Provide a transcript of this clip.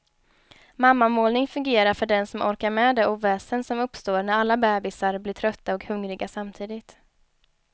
Mammamålning fungerar för den som orkar med det oväsen som uppstår när alla bebisar blir trötta och hungriga samtidigt.